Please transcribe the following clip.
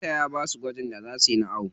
Likitan ya basu gwajin da za suyi na awo.